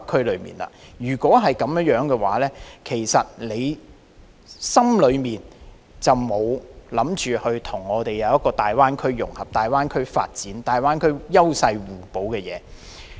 若非如此，你心裏其實便是沒有打算跟大灣區融合，沒有考慮大灣區的發展、大灣區各城市間的優勢互補。